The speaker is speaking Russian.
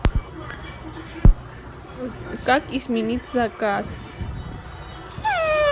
как изменить заказ